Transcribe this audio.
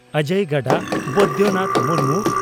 ᱚᱡᱚᱭ ᱜᱟᱰᱟ (ᱵᱳᱭᱫᱚᱱᱟᱛᱷ ᱢᱩᱨᱢᱩ)